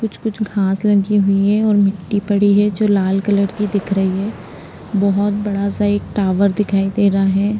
कुछ-कुछ घास लगी हुई हैं और मिटटी पड़ी है जो लाल कलर की दिख रही है। बोहोत बडा सा एक टॉवर दिखाई दे रहा है।